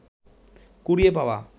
কুড়িয়ে পাওয়া